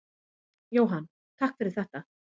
Jóhann: Takk fyrir þetta.